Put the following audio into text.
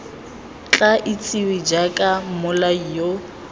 tla itsiwe jaaka mmolai yo